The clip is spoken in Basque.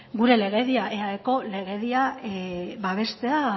gure legedia eaeko legedia babestea